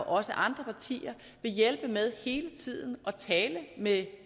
også andre partier vil hjælpe med hele tiden at tale med